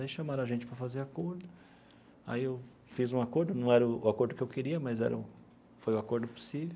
Aí chamaram a gente para fazer acordo, aí eu fiz um acordo, não era o acordo que eu queria, mas era um foi o acordo possível.